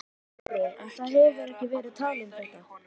Sindri: En það hefur verið talað um þetta?